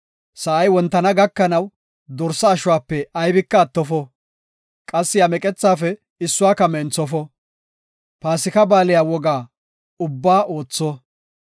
Sa7ay wontana gakanaw dorsa ashuwape aybika attofo; qassi iya meqethafe issuwaka menthofo. Paasika Baaliya woga ubbaa ootho.